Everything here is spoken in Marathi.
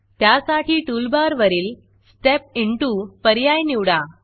त्यासाठी टूलबारवरील स्टेप Intoस्टेप इंटू पर्याय निवडा